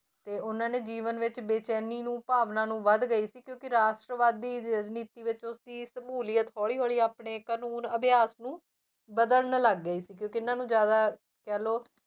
ਤੇ ਉਹਨਾਂ ਨੇ ਜੀਵਨ ਵਿੱਚ ਬੇਚੈਨੀ ਨੂੰ ਭਾਵਨਾ ਨੂੰ ਵੱਧ ਗਈ ਸੀ ਕਿਉਂਕਿ ਰਾਸ਼ਟਰਵਾਦੀ ਵਿੱਚ ਉਸਦੀ ਸਮੂਲੀਅਤ ਹੌਲੀ ਹੌਲੀ ਆਪਣੇ ਕਾਨੂੰਨ ਅਭਿਆਸ ਨੂੰ ਬਦਲਣ ਲੱਗ ਗਈ ਸੀ ਕਿਉਂਕਿ ਇਹਨਾਂ ਨੂੰ ਜ਼ਿਆਦਾ ਕਹਿ ਲਓ